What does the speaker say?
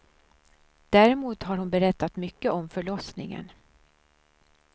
Däremot har hon berättat mycket om förlossningen.